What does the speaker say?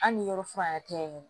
Hali ni yɔrɔ furan yɛrɛ tɛ yen nɔ